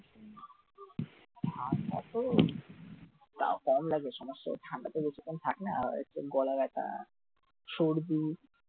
ঠান্ডা তো তাও কম লাগে, ঠান্ডাতে বেশিক্ষণ থাকি না গলা ব্যথা সর্দি